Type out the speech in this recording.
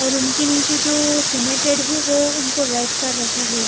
उनके नीचे जो सीमेंट हैवो उनको रेड कर रखा है।